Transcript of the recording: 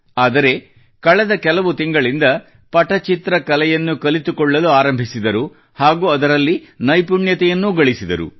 ಆದರೆ ಕಳೆದ ಕೆಲವು ತಿಂಗಳಿಂದ ಪಟಚಿತ್ರ ಕಲೆಯನ್ನು ಕಲಿತುಕೊಳ್ಳಲು ಆರಂಭಿಸಿದರು ಹಾಗೂ ಅದರಲ್ಲಿ ನೈಪುಣ್ಯತೆಯನ್ನೂ ಗಳಿಸಿದರು